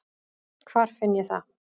Hvar finn ég það?